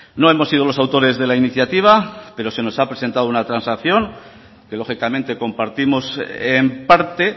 no hemos sido los autores de la iniciativa pero se nos ha presentado una transacción que lógicamente compartimos en parte